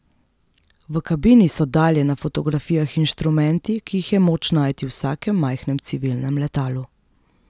V kabini so dalje na fotografijah inštrumenti, ki jih je moč najti v vsakem majhnem civilnem letalu.